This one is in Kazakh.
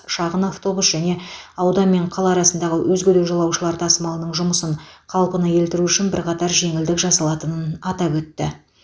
шағын автобус және аудан мен қала арасындағы өзге де жолаушылар тасымалының жұмысын қалпына келтіру үшін бірқатар жеңілдік жасалатынын атап өтті